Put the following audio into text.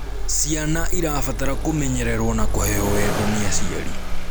Ciana irabatara kumenyererwo na kuheo wendo ni aciari